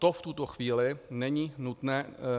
To v tuto chvíli není nutné.